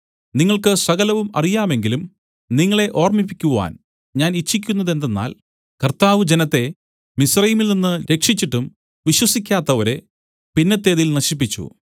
നിങ്ങൾക്ക് സകലവും അറിയാമെങ്കിലും നിങ്ങളെ ഓർമ്മിപ്പിക്കുവാൻ ഞാൻ ഇച്ഛിക്കുന്നതെന്തെന്നാൽ കർത്താവ് ജനത്തെ മിസ്രയീമിൽനിന്ന് രക്ഷിച്ചിട്ടും വിശ്വസിക്കാത്തവരെ പിന്നത്തേതിൽ നശിപ്പിച്ചു